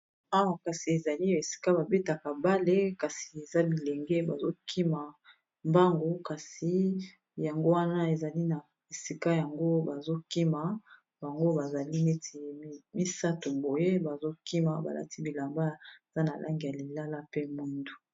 Awa kasi ezali esika babetaka bale kasi eza bilenge bazokima mbangu kasi yango wana ezali na esika yango bazokima bango bazali neti misato boye bazokima balati bilamba eza na langi ya lilala pe mwindu.